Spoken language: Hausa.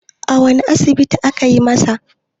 a wane asibiti aka yi masa?